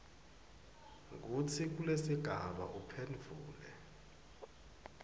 kutsi kulesigaba uphendvule